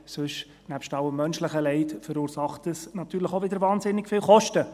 Sonst verursacht dies – neben allem menschlichen Leid – natürlich auch wieder wahnsinnig viele Kosten.